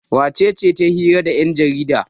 wacece ta yi hira da yanjarida?